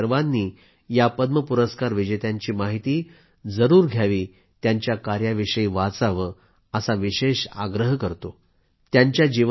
तुम्ही सर्वांनी या पद्म पुरस्कार विजेत्यांची माहिती जरूर घ्यावी त्यांच्या कार्याविषयी वाचावं असा विशेष आग्रह करतो